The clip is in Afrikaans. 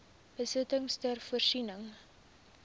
besittings ter voorsiening